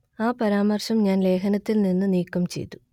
ആ പരാമർശം ഞാൻ ലേഖനത്തിൽ നിന്ന് നീക്കം ചെയ്തു